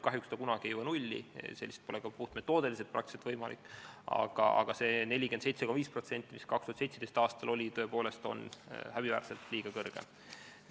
Kahjuks ta nulli kunagi ei jõua, see pole ka puhtmetoodiliselt praktiliselt võimalik, aga see 47,5%, mis 2017. aastal oli, on tõepoolest häbiväärselt liiga kõrge.